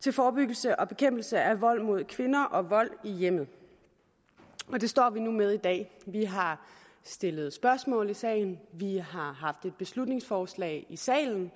til forebyggelse og bekæmpelse af vold mod kvinder og vold i hjemmet og det står vi nu med i dag vi har stillet spørgsmål i sagen vi har haft et beslutningsforslag i salen